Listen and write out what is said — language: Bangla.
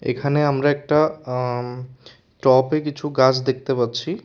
এখানে আমরা একটা টপে কিছু গাছ দেখতে পাচ্ছি।